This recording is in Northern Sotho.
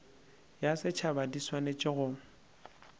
ya setšhaba di swanetše go